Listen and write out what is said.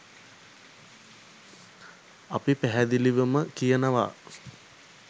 අපි පැහැදිලිවම කියනවා